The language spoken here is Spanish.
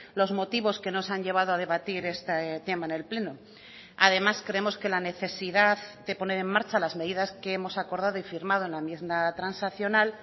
los motivos que nos han llevado a debatir este tema en el pleno además creemos que la necesidad de poner en marcha las medidas que hemos acordado y firmado en la enmienda transaccional